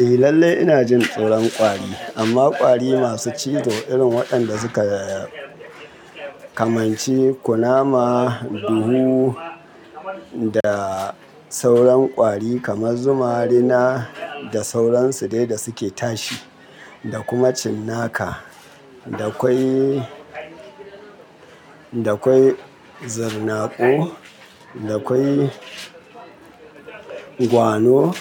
Eh lallai ina jin tsoron kwllƙwari, amma ƙwari masu cizo irin waɗanda suka yaya, kamar ci kunama, duhu da sauran ƙwari kamar zuma rina da sauransu dai da suke tashi da kuma cinnaka. Da kwai, da kwai zarnaƙo, da kwai gwano